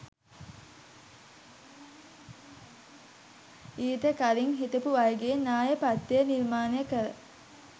ඊට කලින් හිටපු අයගේ න්‍යායපත්‍රය නිර්මාණය කළ